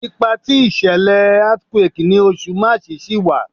Ipa ti ìṣẹlẹ earthquake ni Oṣù March ṣi wa